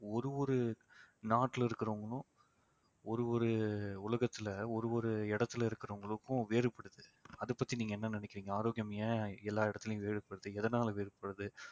ஒரு ஒரு நாட்டுல இருக்கிறவங்களும் ஒரு ஒரு உலகத்துல ஒரு ஒரு இடத்தில இருக்கிறவங்களுக்கும் வேறுபடுது அதை பத்தி நீங்க என்ன நினைக்கிறீங்க ஆரோக்கியம் ஏன் எல்லா இடத்துலயும் வேறுபடுது எதனால வேறுபடுது